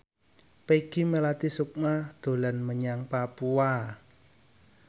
Peggy Melati Sukma dolan menyang Papua